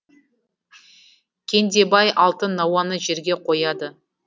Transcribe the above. кендебай алтын науаны жерге қояды